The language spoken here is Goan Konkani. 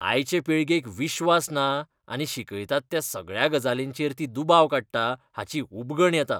आयचे पिळगेक विश्वास ना आनी शिकयतात त्या सगळ्या गजालींचेर ती दुबाव काडटा हाची उबगण येता.